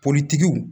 Poritigiw